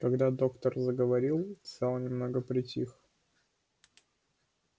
когда доктор заговорил зал немного притих